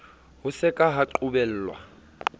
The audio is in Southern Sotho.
ho se ka ha qobellwa